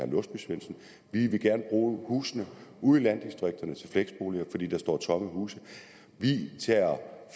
låsbysvendsen vi vil gerne bruge husene ude i landdistrikterne til fleksboliger fordi der står tomme huse vi